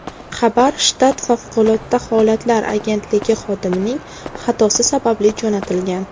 Xabar shtat favqulodda holatlar agentligi xodimining xatosi sababli jo‘natilgan.